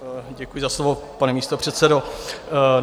Děkuji za slovo, pane místopředsedo.